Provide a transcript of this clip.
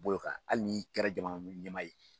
B'o kan hali n'i kɛra jamana ɲɛmaa ye